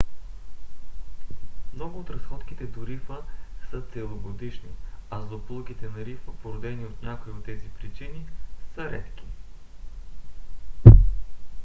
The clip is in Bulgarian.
много от разходките до рифа са целогодишни а злополуките на рифа породени от някоя от тези причини са редки